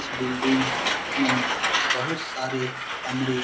इस बिल्डिंग में बहुत सारे कमरे --